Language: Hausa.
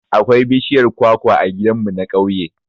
Akwai bishiyar kwakwa a gidan mu na ƙauye